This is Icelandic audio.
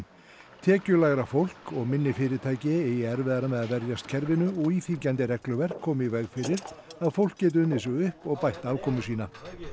tekjulægra fólk og minni fyrirtæki eigi erfiðara með að verjast kerfinu og íþyngjandi regluverk komi í veg fyrir að fólk geti unnið sig upp og bætt afkomu sína